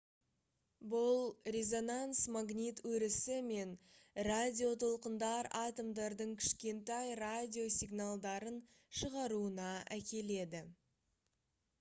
бұл резонанс магнит өрісі мен радиотолқындар атомдардың кішкентай радио сигналдарын шығаруына әкеледі